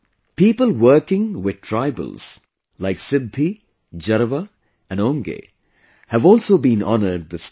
People working with tribals like Siddhi, Jarawa and Onge have also been honoured this time